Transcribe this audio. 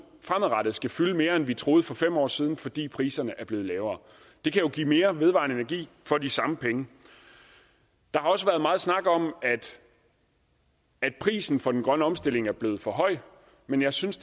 fremadrettet skal fylde mere end vi troede for fem år siden fordi priserne er blevet lavere det kan jo give mere vedvarende energi for de samme penge der har også været meget snak om at prisen for den grønne omstilling er blevet for høj men jeg synes